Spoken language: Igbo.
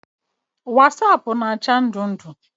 Wasaapụ na-acha ndụ ndụ.